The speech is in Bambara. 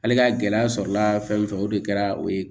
Ale ka gɛlɛya sɔrɔla fɛn min fɛ o de kɛra o ye